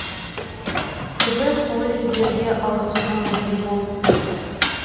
көбі колледждерге ауысуға мәжбүр болыпты